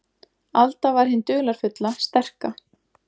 Alda var hin dularfulla, sterka.